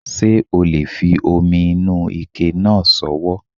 Ṣé o le fi omi inú ike náà sọwọ́